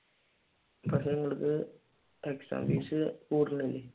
പക്ഷെ നിങ്ങൾക്ക് exam fees കൂടുതലല്ലേ